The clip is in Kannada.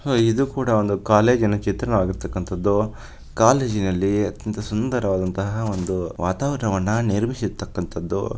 ಅಹ್ ಇದು ಕೂಡ ಒಂದು ಕಾಲೇಜಿ ನ ಚಿತ್ರಣವಾಗಿರತಕಂಥದ್ದು ಕಾಲೇಜಿ ನಲ್ಲಿ ಅತ್ಯಂತ ಸುಂದರವಾದಂತಹ ಒಂದು ವಾತಾವರಣವನ್ನ ನಿರ್ಮಿಸಿರುತಕಂತದು.